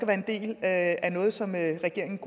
være en del af noget som regeringen